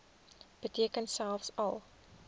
beteken selfs al